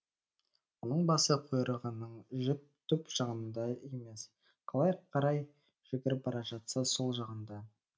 оның басы құйрығының түп жағында емес қалай қарай жүгіріп бара жатса сол жағында